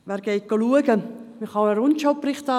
Man kann sich einen «Rundschau»Bericht ansehen.